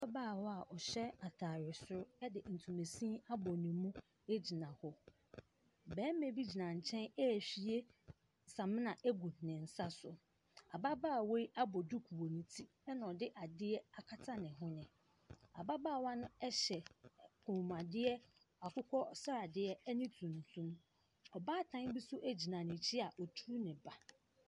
Ababaawɔ a ɔhyɛ atadeɛ soro de ntomasini abɔ ne mu gyina hɔ. Barima bi gyina nkyɛn rehwie samina agu ne nsa so. Ababaawa yi abɔ duku wɔ ne ti, na ɔde adeɛ akata ne hwene. Ababaawa no hyɛ ɛ kɔnmuadeɛ akokɔsradeɛ ne tuntum. Ɔbaatan bi nso gyina n'akyi a ɔturu ne ba.